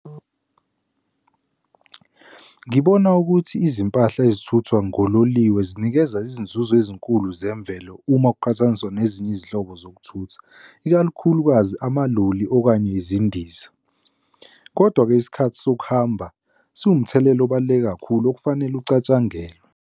Ngibona ukuthi izimpahla ezithuthwa ngololiwe zinikeza izinzuzo ezinkulu zemvelo uma kuqhathaniswa nezinye izinhlobo zokuthutha, ikakhulukazi amaloli okanye izindiza. Kodwa-ke isikhathi sokuhamba sinomthelela obaluleke kakhulu okufanele acatshangelwe.